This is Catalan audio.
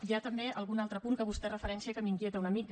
hi ha també algun altre punt que vostè referencia que m’inquieta una mica